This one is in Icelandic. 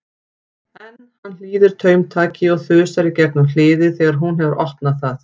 En hann hlýðir taumtaki og þusar í gegnum hliðið þegar hún hefur opnað það.